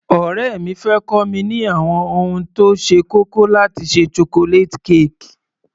Ọ̀rẹ́ mi fẹ́ kọ́ mi ní àwọn ohun tó ṣe kókó láti ṣe Chocolate cake.